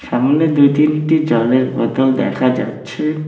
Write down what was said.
সামনে দুই তিনটি জলের বোতল দেখা যাচ্ছে।